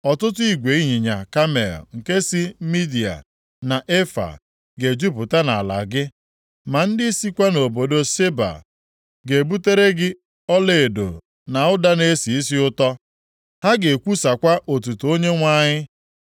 Ọtụtụ igwe ịnyịnya kamel nke si Midia na Efaa ga-ejupụta nʼala gị, + 60:6 Ndị ebo Midia, bụ ndị sitere nʼakụkụ ndịda ọdịda anyanwụ osimiri Jọdan. Ha na-achị anụ ụlọ na-agagharị nʼihi izu ha. Efaa bụ nwa nwoke Midian \+xt Jen 25:4.\+xt* ma ndị sikwa nʼobodo Sheba ga-ebutere gị ọlaedo na ụda na-esi isi ụtọ. Ha ga-ekwusakwa otuto Onyenwe anyị.